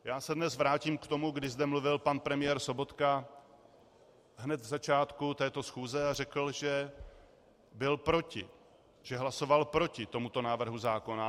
Já se dnes vrátím k tomu, kdy zde mluvil pan premiér Sobotka hned v začátku této schůze a řekl, že byl proti, že hlasoval proti tomuto návrhu zákona.